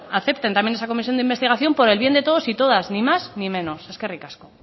acepten también esa comisión de investigación por el bien de todos y todas ni más ni menos eskerrik asko